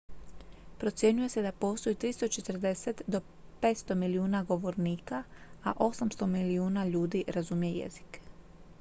procjenjuje se da postoji 340 do 500 milijuna govornika a 800 milijuna ljudi razumije jezik